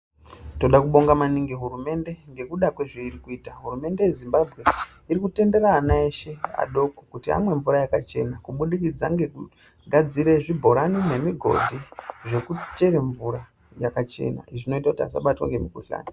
Toda kubonga maningi hurumende ngekuda kwezvairikuita , hurumende yeZimbabwe irikutendera ana eshe adoko kuti amwe mvura yakachena kubudikdza ngekugadzire zvibhorani nemigodhi zvekuchere mvura yakachena zvinoite kuti asabatwa ngemukhuhlani.